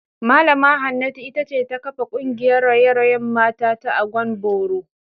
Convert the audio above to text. Mallama Hanatu ita ce ta kafa kungiyar raye-rayen mata ta Agwan Boro